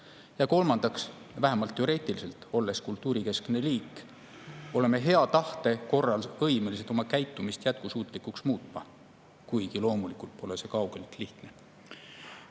Ja kolmandaks, vähemalt teoreetiliselt, olles kultuurikeskne liik, oleme me hea tahte korral võimelised oma käitumist jätkusuutlikuks muutma, kuigi loomulikult pole see kaugeltki lihtne.